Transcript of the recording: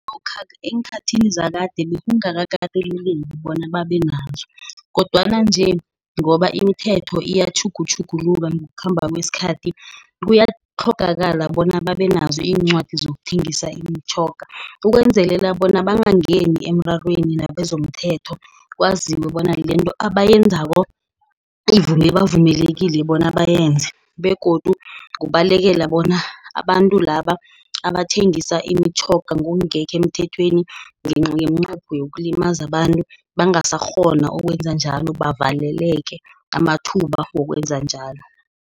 Eenkhathini zakade bekungakakateleleki bona babe nazo, kodwana nje, ngoba imithetho iyatjhugutjhuguluka ngokukhamba kwesikhathi. Kuyatlhogakala bona babe nazo iincwadi zokuthengisa imitjhoga, ukwenzelela bona bangangeni emrarweni nabezomthetho. Kwaziwe bona lento abayenzako bavumelekile bona bayenze, begodu kubalekela bona abantu laba, abathengisa imitjhoga ngokungekho emthethweni, ngeminqopho yokulimaza abantu, bangasakghona ukwenza njalo, bavaleleke amathuba wokwenza njalo.